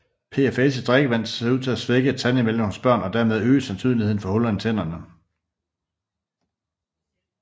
PFAS i drikkevand ser ud til at svække tandemaljen hos børn og dermed øge sandsynligheden for huller i tænderne